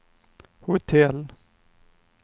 hotell